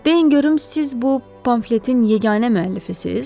Deyin görüm siz bu pamfletin yeganə müəllifisiz?